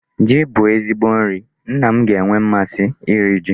Ji bụ ezigbo nri. Nna m ga-enwe mmasi iri ya.